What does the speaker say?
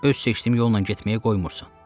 Öz seçdiyim yolla getməyə qoymursan."